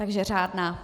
Takže řádná.